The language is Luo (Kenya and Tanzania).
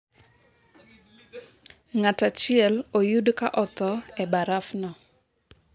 ngat achiel oyud ka otho e baraf no